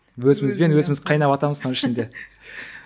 өзімізбен өзіміз қайнаватамыз соның ішінде